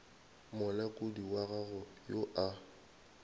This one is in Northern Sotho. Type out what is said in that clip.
molekodi wa gago yo a